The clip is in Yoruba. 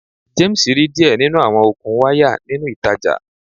James ri diẹ ninu awọn okun waya ninu itaja